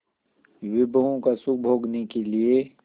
विभवों का सुख भोगने के लिए